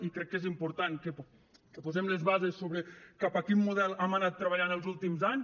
i crec que és important que posem les bases sobre cap a quin model hem anat treballant els últims anys